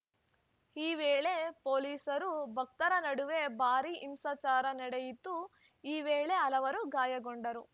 ಈ ವೇಳೆ ಪೊಲಿಸರು ಭಕ್ತರ ನಡುವೆ ಭಾರೀ ಹಿಂಸಾಚರ ನಡೆಯಿತು ಈ ವೇಳೆ ಹಲವರು ಗಾಯಗೊಂಡರು